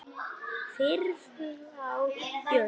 Friður á jörðu.